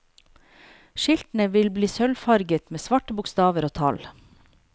Skiltene vil bli sølvfarget med svarte bokstaver og tall.